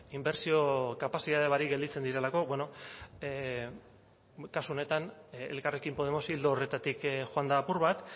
inbertsio kapazitatea barik gelditzen direlako bueno kasu honetan elkarrekin podemos ildo horretatik joan da apur bat